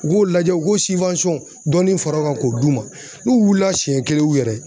U k'o lajɛ u k'o dɔɔni fara u kan k'o d'u ma, n'u wulila siɲɛ kelen u yɛrɛ ye